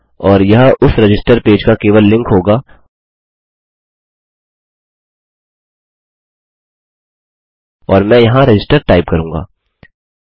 और यह उस रजिस्टर पेज का केवल लिंक होगा और मैं यहाँ रजिस्टर टाइप करूँगा